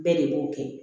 Bɛɛ de b'o kɛ